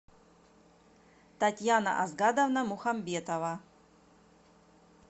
татьяна асгадовна мухамбетова